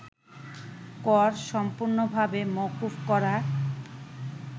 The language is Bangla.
কর সম্পূর্ণভাবে মওকুফ করা